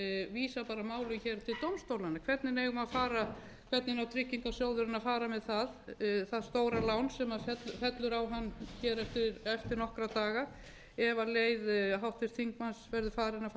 til dómstólanna hvernig á tryggingasjóðurinn að fara með það stóra lán sem fellur á hann hér eftir nokkra daga ef leið háttvirtur háttvirts þingmanns verður farin að fara með málið fyrir dómstólana eins og við